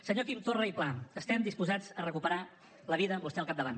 senyor quim torra i pla estem disposats a recuperar la vida amb vostè al capdavant